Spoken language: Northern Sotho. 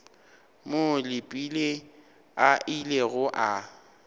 moo leepile a ilego a